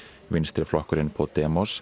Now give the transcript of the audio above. vinstriflokkurinn